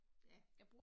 Ja